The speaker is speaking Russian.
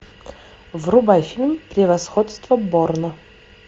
врубай фильм превосходство борна